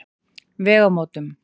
Vegamótum